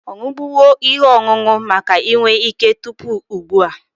Ọ ṅụbụgo ihe ọṅụṅụ maka inwe ike tupu ụgbụa?